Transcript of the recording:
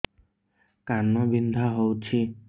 କାନ ବିନ୍ଧା ହଉଛି